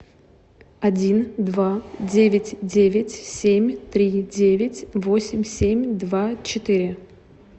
один два девять девять семь три девять восемь семь два четыре